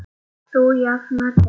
Þú jafnar þig.